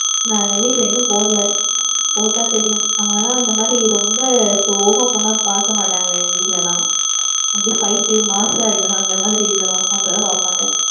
நான் எங்க வீட்டுல இன்னும் போடல, போட்டா தெரியும். அவங்கவென இந்தமாதிரி ரொம்ப slow ஆ போனா பாக்கமாட்டாங்க எங்க வீட்டுல எல்லாம். அப்டி fight, mass சா இருக்கணும் அந்தமாதிரி இருக்கனும் அப்பதான் பாப்பாங்க,